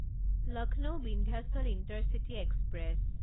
Lucknow Vindhyachal intercity express